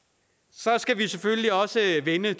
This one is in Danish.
så skal vi selvfølgelig også vende